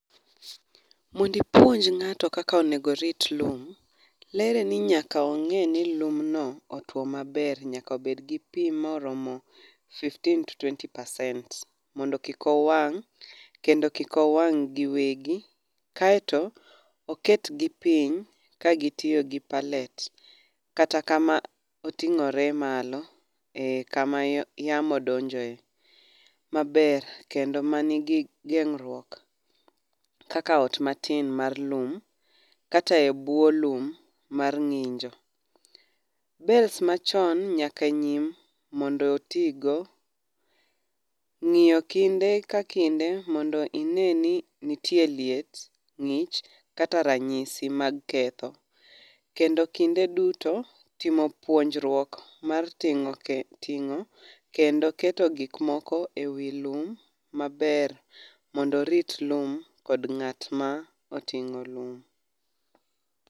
Mond ipuonj ng'ato kaka onego orit lum, lere ni nyaka ong'e ni lum no otwo maber nyaka bed gi pi morom fifteen to tweny percent mondo kik owang' kendo kik owang' gi wegi. Kaeto oket gi piny ka gitiyo gi pallet kata kama oting're malo kama yamo donjoe maber kendo manigi geng'ruok kaka ot matin mar lum kata e buo lum mar ng'injo. Bales machon nyaka nyim mondo otigo ng'iyo kinde ka kinde mondo ine ni nitie liet, ng'ich kata ranyisi ma ketho. Kendo kinde duto timo puonjruok mar ting'o kendo keto gik moko e wi lum maber mondo orit lum kod ng'at ma oting'o lum.